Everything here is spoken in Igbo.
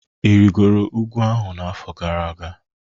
Ị rịgoro ugwu ahụ n'afọ gara aga?